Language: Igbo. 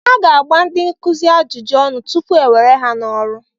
A ga-agba ndị nkuzi ajụjụ ọnụ tupu e were ha n'ọrụ.